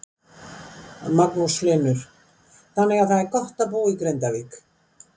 Magnús Hlynur: Þannig að það er gott að búa í Grindavík?